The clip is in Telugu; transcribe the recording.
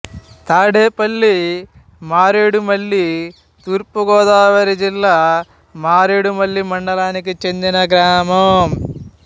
తాడేపల్లి మారేడుమిల్లి తూర్పు గోదావరి జిల్లా మారేడుమిల్లి మండలానికి చెందిన గ్రామం